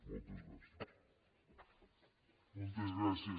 moltes gràcies